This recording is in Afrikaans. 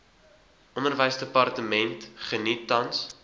onderwysdepartement geniet tans